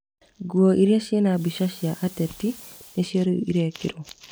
Nguo iria ciĩna mbica cia ateti nĩcio rĩu irekĩrwo